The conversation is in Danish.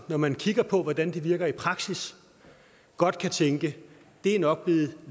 når man kigger på hvordan de virker i praksis godt kan tænke at det nok